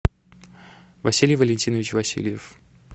василий валентинович васильев